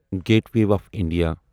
gateway of India